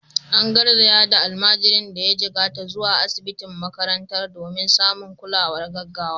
An garzaya da almajirin da ya jikkata zuwa asibitin makarantar domin samun kulawar gaggawa.